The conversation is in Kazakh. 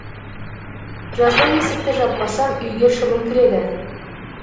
жазда есікті жаппасам үйге шыбын кіреді